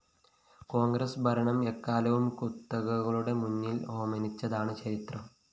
കോണ്‍ഗ്രസ് ഭരണം എക്കാലവും കുത്തകകളുടെ മുന്നില്‍ ഓച്ചാനിച്ചതാണ് ചരിത്രം